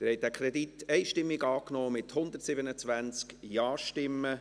Sie haben diesen Kredit einstimmig angenommen, mit 127 Ja-Stimmen.